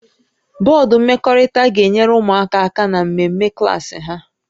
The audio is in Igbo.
Bọdụ mmekọrịta ga-enyere ụmụaka aka na mmemme klaasị ha